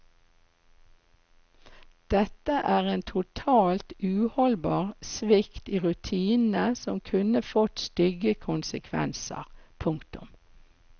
Dette er en totalt uholdbar svikt i rutinene som kunne fått stygge konsekvenser. punktum